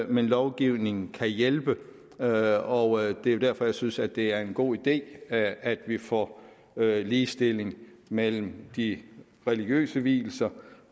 men lovgivningen kan hjælpe og det er jo derfor jeg synes at det er en god idé at at vi får ligestilling mellem de religiøse vielser